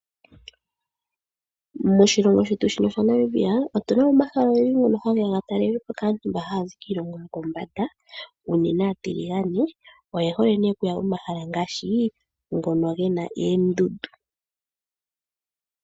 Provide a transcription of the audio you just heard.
Moshilongo shino shetu sha namibia otunamo omahala ogendi ngono hageya ga talelwepo kaantu mbo haazi kiilongo yokombanda unene atiligane oyehole okuya komahala ngashi ngoka gena eendundu.